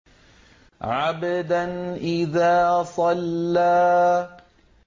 عَبْدًا إِذَا صَلَّىٰ